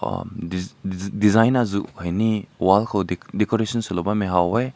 hum dis dis design aazu hai ne wall ko de decoration sulao bam mai hao weh.